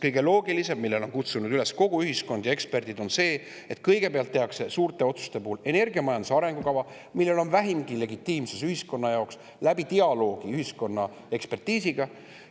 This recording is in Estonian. Kõige loogilisem, millele on kutsunud üles kogu ühiskond ja eksperdid, on see, et kõigepealt tehakse suurte otsuste puhul energiamajanduse arengukava, millel on vähimgi legitiimsus jaoks tänu dialoogile ühiskonna ja.